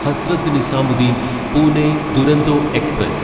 Hazrat Nizamuddin Pune Duronto express